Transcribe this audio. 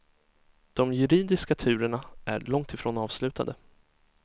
De juridiska turerna är långtifrån avslutade.